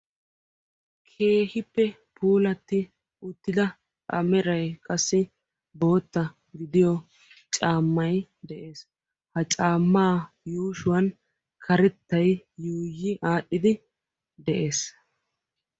keehippe puulati uttida a meray qassi boottaa gidiyo caamay de'ees; ha caama yuushshuwan qassi karettay yuuyyi aadhdhidi de'ees